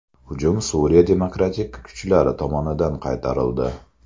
Hujum Suriya demokratik kuchlari tomonidan qaytarildi.